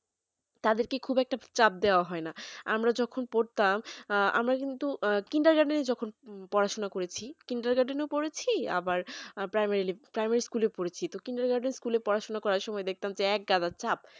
তাদেরকে খুব একটা চাপ দেওয়া হয় ন আমরা যখন পড়তাম আমরা কিন্ত kindergarten যখন পড়াশোনা করেছ পড়েছি kinder garden এ ও আবার primary primary lib school এ পড়েছ তো kindergarten পড়াশোনা করার সময় দেখতা যে একদাগ চাপ